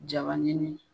Jabanin